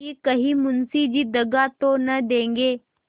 कि कहीं मुंशी जी दगा तो न देंगे